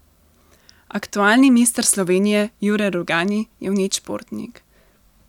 Aktualni mister Slovenije Jure Rugani je vnet športnik.